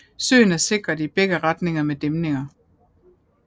Søen er sikret i begge retninger med dæmninger